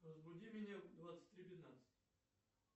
разбуди меня в двадцать три пятнадцать